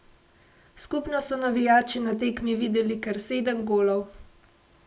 Skupno so navijači na tekmi videli kar sedem golov.